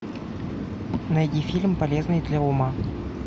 найди фильм полезный для ума